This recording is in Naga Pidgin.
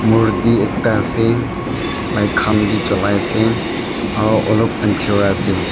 murti ekta ase light khan bhi jolai ase aru olop Andhra ase.